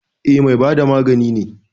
E, mai bada magani ne.